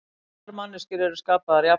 Allar manneskjur eru skapaðar jafnar